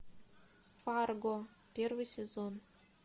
фарго первый сезон